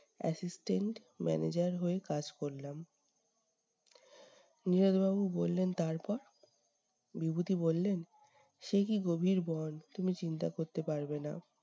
assistant manager হয়ে কাজ করলাম। নীরদ বাবু বললেন, তারপর? বিভূতি বাবু বললেন, সে কী গভীর বন! তুমি চিন্তা করতে পারবে না।